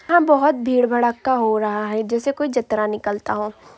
यहाँं बहुत भीड़ भड़ड़का हो रहा है जैसे कोई जतरा निकलता हो।